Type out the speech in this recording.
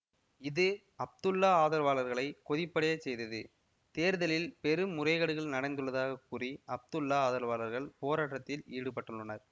இது அப்துல்லா ஆதரவாளர்களை கொதிப்படையச் செய்தது தேர்தலில் பெரும்முறைகேடுகள் நடந்துள்ளதாக கூறி அப்துல்லா ஆதரவாளர்கள் போராட்டத்தில் ஈடுபட்டுள்ளனர்